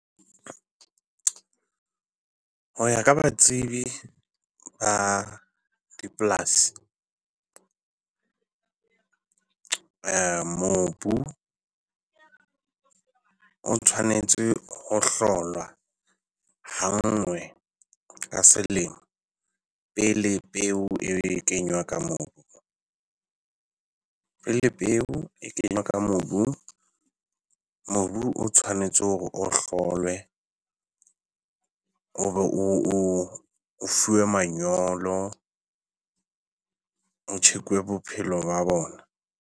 Ho ya ka batsibi ba dipolasi mobu o tshwanetse ho hlolwa ha nngwe ka selemo pele peo e kenywa ka mono. Pele peo e kenywa ka mobung, mobu o tshwanetse hore o hlolwe o be o o o fuwe manyolo ho check-uwe bophelo ba bona.